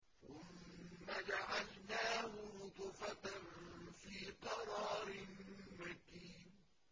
ثُمَّ جَعَلْنَاهُ نُطْفَةً فِي قَرَارٍ مَّكِينٍ